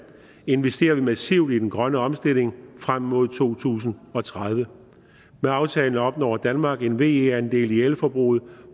investerer vi massivt i den grønne omstilling frem mod to tusind og tredive med aftalen opnår danmark en ve andel i elforbruget på